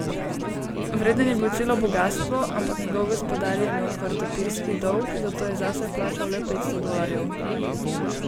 Vreden je bil celo bogastvo, ampak njegov gospodar je imel kvartopirski dolg, zato je zase plačal le petsto dolarjev.